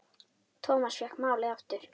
Thomas fékk málið aftur.